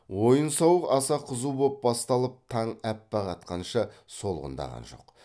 ойын сауық аса қызу боп басталып таң аппақ атқанша солғындаған жоқ